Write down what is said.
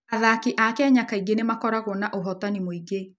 Athaki a Kenya kaingĩ nĩ makoragwo na ũhootani mũingĩ.